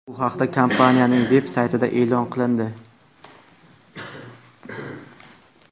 Bu haqda kompaniyaning veb-saytida e’lon qilindi .